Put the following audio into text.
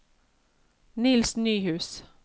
Niels Nyhus